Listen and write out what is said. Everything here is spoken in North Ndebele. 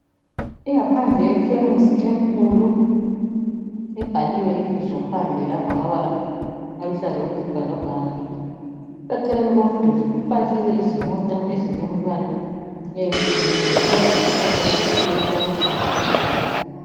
Ingaphandle yekhemisi enkulu ibhaliwe ibizo phandle lapha ngamabala aluhlaza okwesibhakabhaka, eceleni komduli kupakiwe izimota ezilombala eyehlukeneyo kulalesihlahla esikhulu esilamahlamvu aluhlaza.